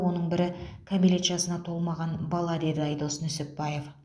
оның бірі кәмелет жасына толмаған бала деді айдос нүсіпбаев